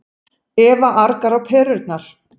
Eva argar á perurnar.